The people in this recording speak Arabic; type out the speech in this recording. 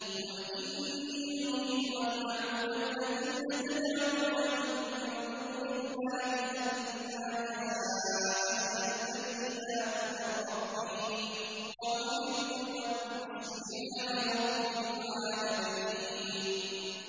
۞ قُلْ إِنِّي نُهِيتُ أَنْ أَعْبُدَ الَّذِينَ تَدْعُونَ مِن دُونِ اللَّهِ لَمَّا جَاءَنِيَ الْبَيِّنَاتُ مِن رَّبِّي وَأُمِرْتُ أَنْ أُسْلِمَ لِرَبِّ الْعَالَمِينَ